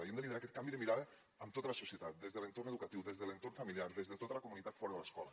i hem de liderar aquest canvi de mirada amb tota la societat des de l’entorn educatiu des de l’entorn familiar des de tota la comunitat fora de l’escola